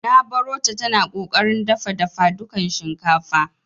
Nq barota tana ƙoƙarin dafa dafadukan shinkafa.